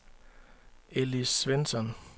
Elise Svensson